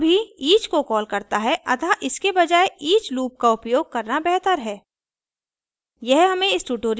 चूँकि for भी each को कॉल करता है अतः इसके बजाये each लूप का उपयोग करना बेहतर है